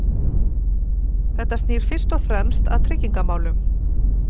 Þetta snýr fyrst og fremst að tryggingamálum.